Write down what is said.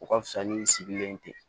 O ka fisa ni sigilen tɛ